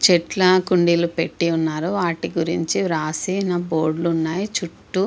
చెట్లు కొండిలు పెట్టి వాటి గురించి రాసిన బోర్డులు ఉన్నాయి. చుట్టూ --